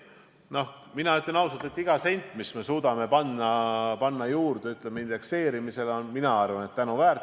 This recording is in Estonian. Mina ütlen, et iga sent, mis me suudame indekseerimisel juurde panna, on tänuväärt.